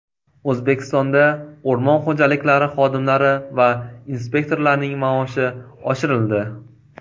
O‘zbekistonda o‘rmon xo‘jaliklari xodimlari va inspektorlarining maoshi oshirildi.